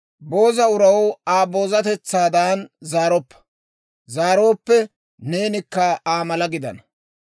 Booza uraw Aa boozatetsaadan zaaroppa; zaarooppe neenikka Aa mala gidana.